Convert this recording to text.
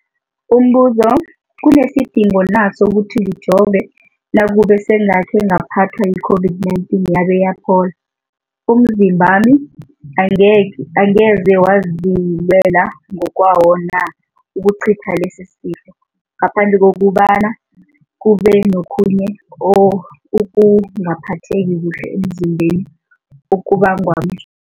Umbuzo, kunesidingo na sokuthi ngijove nakube sengakhe ngaphathwa yi-COVID-19 yabe yaphola? Umzimbami angeze wazilwela ngokwawo na ukucitha lesisifo, ngaphandle kobana kube nokhunye ukungaphatheki kuhle emzimbeni okubangwa